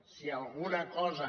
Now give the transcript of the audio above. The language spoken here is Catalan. si alguna cosa